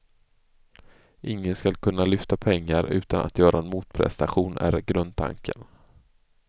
Ingen skall kunna lyfta pengar utan att göra en motprestation är grundtanken.